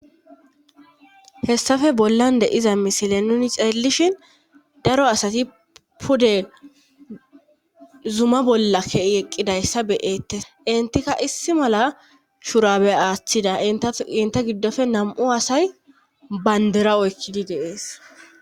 hessafe bollan de iza misile nuni ceellishin daro asati pude zuma bolla kei eqqidayssa beyettes intikka issi mala shurabe aaththida t inte giddofe nam7u asay bandera oykkidi deees